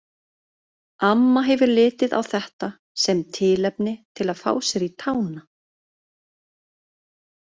Amma hefði litið á þetta sem tilefni til að fá sér í tána.